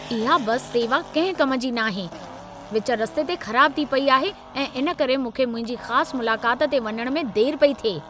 इहा बस सेवा कंहिं कम जी न ई नाहे । विच रस्ते ते ख़राबु थी पई आहे ऐं इन करे मूंखे मुंहिंजी ख़ास मुलाकात ते वञण में देर पई थिए।